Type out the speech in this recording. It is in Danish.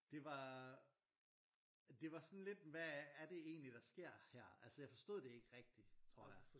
Det var det var sådan lidt hvad er det egentlig der sker her jeg forstod det ikke rigtig tror jeg